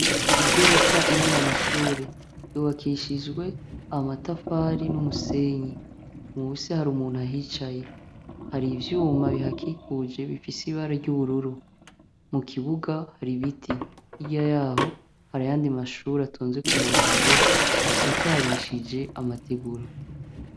igorofa irimwo amashure yubakishijwe amatafari n'umusenyi musi hari umuntu ahicaye hari ivyuma bihakikuje bifise ibara ry'ubururu mu kibuga hari biti hirya yaho hari ayandi mashuri atonze ku murongo asakarishije amategura.